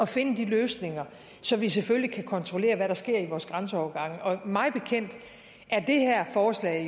finde de løsninger så vi selvfølgelig kan kontrollere hvad der sker ved vores grænseovergange mig bekendt er det her forslag